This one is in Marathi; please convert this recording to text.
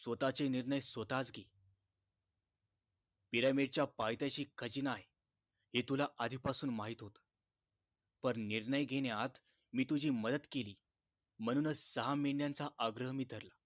स्वताचे निर्णय स्वताच घे पिर्‍यामिडच्या पायथ्याशी खजिना आहे हे तुला आधीपासून माहीत होत पण निर्णय घेण्यात मी तुझी मदत केली म्हणूनच सहा महिन्याचं आग्रह मी धरला